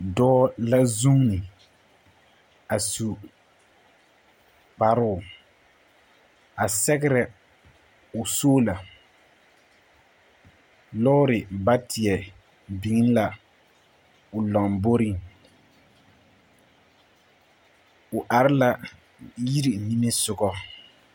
Dͻͻ la zuuni a su kparoo, a sԑgerԑ o soola. Lͻͻre baateԑ biŋ la o lamboriŋ. O are yiri nimisogͻ.